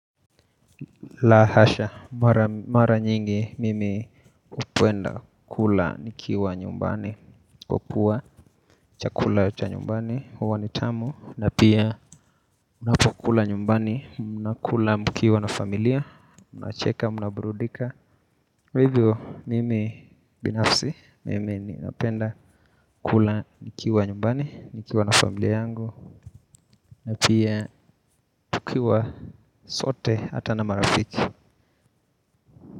La hasha, mara nyingi mimi hupenda kula nikiwa nyumbani. Kwakua cha kula cha nyumbani, huwa ni tamu. Na pia unapokula nyumbani, mnakula mkiwa na familia mnacheka, mnaburudika. Hivyo mimi binafsi, mimi napenda kula nikiwa nyumbani, nikiwa na familia yangu. Na pia tukiwa sote hata na marafiki.